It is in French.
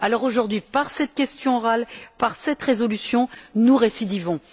Aujourd'hui, par cette question orale, par cette résolution, nous récidivons.